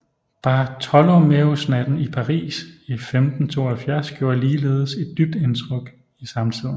Bartholomæusnatten i Paris i 1572 gjorde ligeledes et dybt indtryk i samtiden